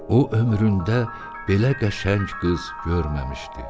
O ömründə belə qəşəng qız görməmişdi.